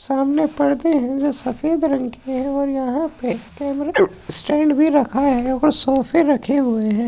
सामने पर्दे है जो सफेद रंग के और यहाँ पे कैमरा स्टैंड भी रखा है और सोफे रखे हुए हैं।